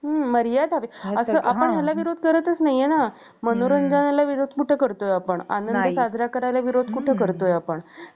दुष्ट मौलवी उभा राहून त्यांच्यावर दररोज गुळण्या टाकायचा. ज्यामुळे ते अपवित्र होऊन जायचे. परंतु, एकनाथाला त्या काहीहि न बोलता, पुन्हा स्नानाला निघून जात असत.